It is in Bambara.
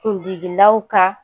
Kundigilaw ka